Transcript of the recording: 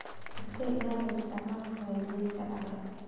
Iska ilaali isticmaalka maaddooyinka dhacay.